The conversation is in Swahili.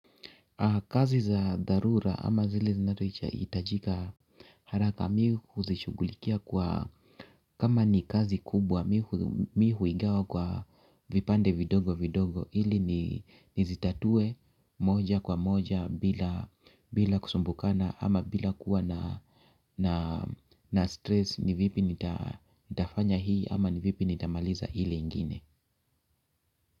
Kazi za dharura ama zile zinazoitachika it haraka mii hu zishugulikia kwa kama ni kazi kubwa mi huigawa kwa vipande vidogo vidogo ili nizitatue moja kwa moja bila kusumbukana ama bila kuwa na stress ni vipi nitafanya hii ama ni vipi nitamaliza ile ingine.